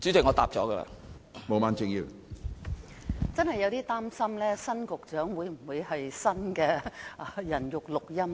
我真有點擔心，新任局長會否是新的"人肉錄音機"。